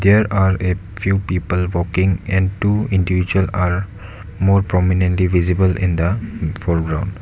there are a few people walking and to individual are more prominent visible in the foreground.